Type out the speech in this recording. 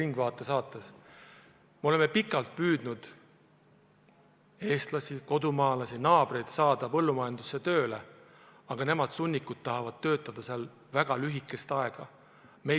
Nad on pikalt püüdnud eestlasi, kodumaalasi, naabreid saada põllumajandusse tööle, aga need, sunnikud, tahavad töötada väga lühikest aega.